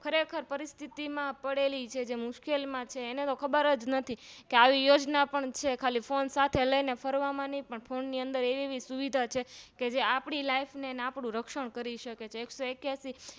ખરેખર પરીસ્થિતિમાં પડેલી છે જે મુશ્કેલી માં છે એને તો ખબરજ નથી કે આવી યોજનાઓ પણ છે ખાલી Phone સાથે લઈને ફરવામાં નહી પણ Phone ની અંદર એવી એવી સુવિધા છેકે આપણી Life ને આપણું રક્ષણ કરી શકે છે એક સો એક્યાશી